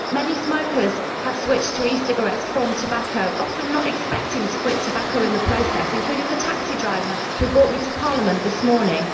Many smokers have switched to e cigarettes from tobacco often not expecting to quit tobacco in the process including the taxi driver who brought me to Parliament this morning.